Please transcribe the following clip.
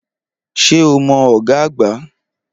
Ṣé o mọ ọ̀gá àgbà?